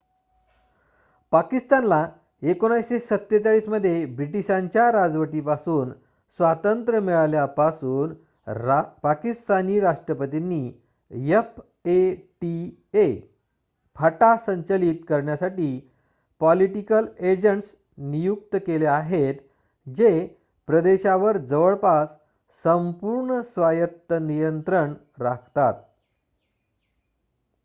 "पाकिस्तानला 1947 मध्ये ब्रिटीशांच्या राजवटीपासून स्वातंत्र्य मिळाल्यापासून पाकिस्तानी राष्ट्रपतींनी fata संचालित करण्यासाठी "पॉलिटिकल एजंट्स" नियुक्त केले आहेत जे प्रदेशावर जवळपास संपूर्ण स्वायत्त नियंत्रण राखतात.